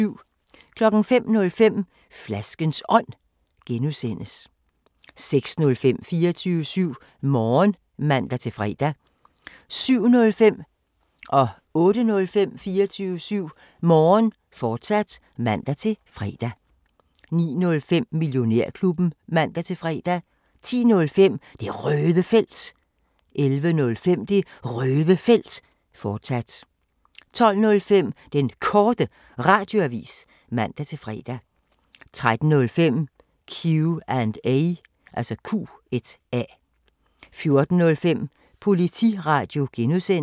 05:05: Flaskens Ånd (G) 06:05: 24syv Morgen (man-fre) 07:05: 24syv Morgen, fortsat (man-fre) 08:05: 24syv Morgen, fortsat (man-fre) 09:05: Millionærklubben (man-fre) 10:05: Det Røde Felt 11:05: Det Røde Felt, fortsat 12:05: Den Korte Radioavis (man-fre) 13:05: Q&A 14:05: Politiradio (G)